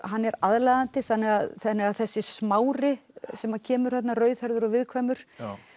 hann er aðlaðandi þannig að þannig að þessi Smári sem kemur þarna rauðhærður og viðkvæmur